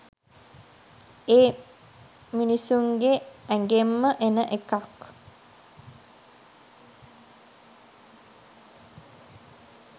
මේ මිනිස්සුන්ගේ ඇගෙන්ම එන එකක්